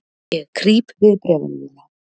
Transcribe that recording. Ég krýp við bréfalúguna.